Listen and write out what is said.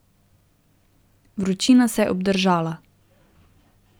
Vročina se je obdržala.